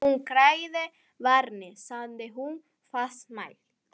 Þú hræðir barnið, sagði hún fastmælt.